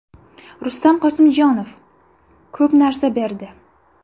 Rustam Qosimjonov: Ko‘p narsa berdi.